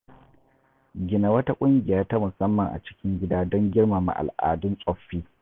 Gina wata ƙungiya ta musamman a cikin gida don girmama al’adun tsoffi.